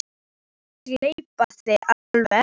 Láttu hann ekki gleypa þig alveg!